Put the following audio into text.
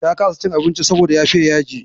Ta kasa cin abincin saboda ya fiya yaji.